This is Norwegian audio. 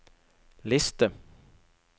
liste